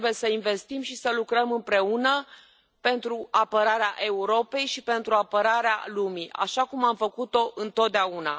Trebuie să investim și să lucrăm împreună pentru apărarea Europei și pentru apărarea lumii, așa cum am făcut o întotdeauna.